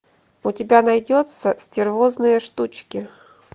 у тебя найдется стервозные штучки